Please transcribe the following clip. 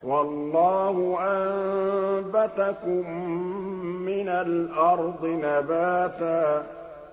وَاللَّهُ أَنبَتَكُم مِّنَ الْأَرْضِ نَبَاتًا